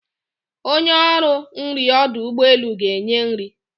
Onye ọrụ nrị ọdụ ụgbọeluga-enye nri.